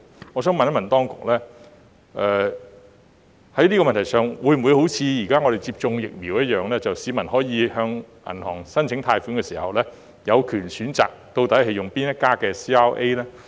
我想問當局，是否可以像現時接種疫苗般，讓市民有權在向銀行申請貸款時，選擇使用哪一家 CRA？